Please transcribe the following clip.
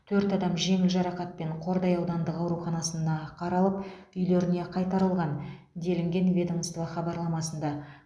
төрт адам жеңіл жарақатпен қордай аудандық ауруханасына қаралып үйлеріне қайтарылған делінген ведомство хабарламасында